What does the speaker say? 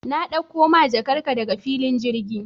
Na ɗakko ma jakar ka daga filin girgin